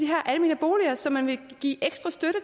almene boliger som man vil give ekstra støtte